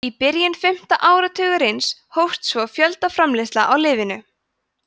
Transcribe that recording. í byrjun fimmta áratugarins hófst svo fjöldaframleiðsla á lyfinu